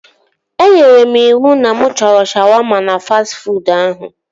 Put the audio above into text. Enyere m iwu na mụ chọrọ shawaama na fastị fuud ahụ